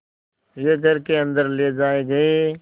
वे घर के अन्दर ले जाए गए